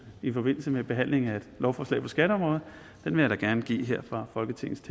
i forbindelse med behandlingen af et lovforslag på skatteområdet vil jeg da gerne give her fra folketingets